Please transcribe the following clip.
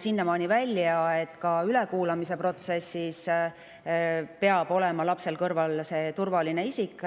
sinnamaani välja, et ka ülekuulamise protsessis peab olema lapsel kõrval talle turvaline isik.